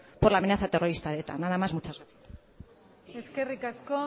por la amenaza terrorista de eta nada más muchas gracias eskerrik asko